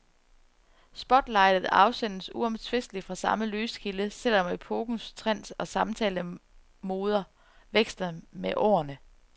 Spotlightet afsendes uomtvisteligt fra samme lyskilde, selv om epokens trends og samtalemoder veksler med årene.